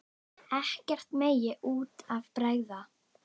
Ekkert megi út af bregða.